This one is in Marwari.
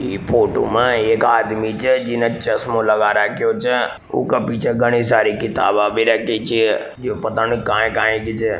ई फोटो में एक आदमी छे जीने चस्मो लगा रख्ख्यो छे बाक पीछे घनी सारी किताबें भी रखी छे जो पता नी काय काय की छे।